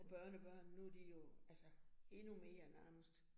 Og børnebørn, nu de jo endnu mere nærmest